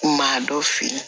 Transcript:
Maa dɔ feere